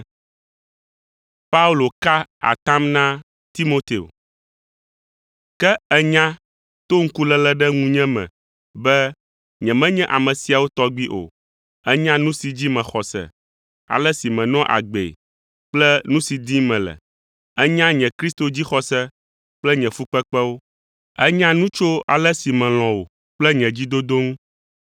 Ke ènya to ŋkuléle ɖe ŋunye me be nyemenye ame siawo tɔgbi o. Ènya nu si dzi mexɔ se, ale si menɔa agbee kple nu si dim mele. Ènya nye Kristo dzixɔse kple nye fukpekpewo. Ènya nu tso ale si melɔ̃ wò kple nye dzidodo ŋu.